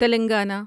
Telangana